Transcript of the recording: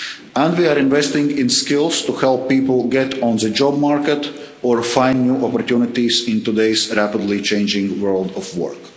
State. And we are investing in skills to help people get on the job market or find new opportunities in today's rapidly changing world of